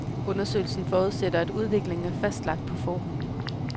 Undersøgelsen forudsætter, at udviklingen er fastlagt på forhånd.